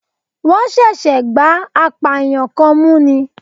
Wọ́n ṣẹ̀ṣẹ̀ gbá apààyàn kan mú ni